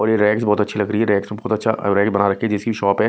और ये रैक्स बहुत अच्छी लग रही है रैक्स में बहोत अच्छा अ रैक बना रखी है जिसकी शॉप है।